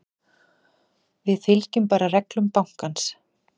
Við fylgjum bara reglum bankans.